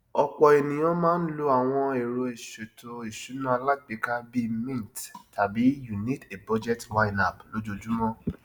ọpọ ènìyàn máa ń lò àwọn ero ìṣètò ìsúná alágbèéká bíi mint tàbí you need a budget ynab lójoojúmọ